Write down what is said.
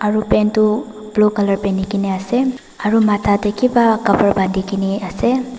aro pant tu blue color penigina ase aro matha de kiba kapra bandi gina ase.